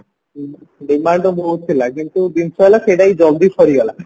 demand ବହୁତ ଥିଲା କିନ୍ତୁ ଜିନଷ ହେଲା ସେଇଟା ବି ଜଲ୍ଦି ସରିଗଲା